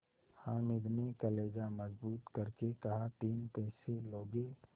हामिद ने कलेजा मजबूत करके कहातीन पैसे लोगे